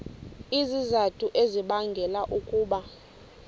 izizathu ezibangela ukuba